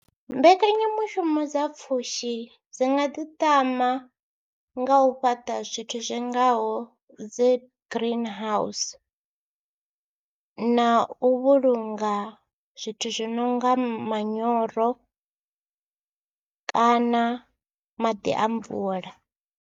Mbekanyamushumo dza pfhushi dzi nga ḓiṱama nga u fhaṱa zwithu zwi ngaho dzi green house na u vhulunga zwithu zwi no nga manyoro kana maḓi a mvula.